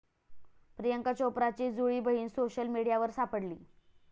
प्रियांका चोप्राची जुळी बहीण सोशल मीडियावर सापडली!